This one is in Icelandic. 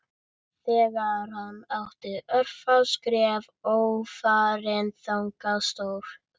Þegar hann átti örfá skref ófarin þangað stóð